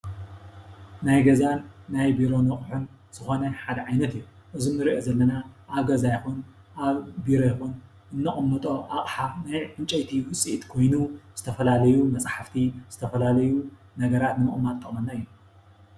ናይ ገዛን ናይ ቢሮ ኣቑሑን ዝኾነ ሓደ ዓይነት እዩ፡፡ እዚ ንሪኦ ዘለና ኣብ ገዛ ይኹን ኣብ ቢሮ ይኹን እነቕምጦ ኣቕሓ ናይ ዕንጨይቲ ውፅኢት ኾይኑ ዝተፈላለዩ መፅሓፍቲ ዝተፈላለዩ ነገራት ንምቕማጥ ዝጠቕመና እዩ፡፡